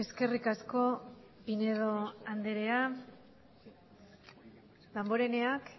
eskerrik asko pinedo andrea damboreneak